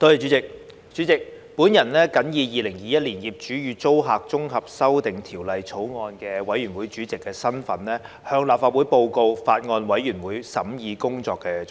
代理主席，我謹以《2021年業主與租客條例草案》委員會主席的身份，向立法會報告法案委員會審議工作的重點。